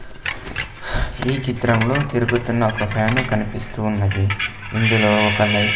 ఈ చిత్రంలో తిరుగుతున్న ఒక ఫ్యాను కనిపిస్తూ ఉన్నది ఇందులో ఒక లై--